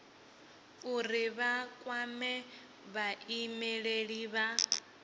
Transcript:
uri vha kwame vhaimeleli vha